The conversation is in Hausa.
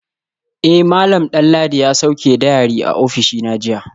Eh malam Danladi ya sauke diary a ofishina jiya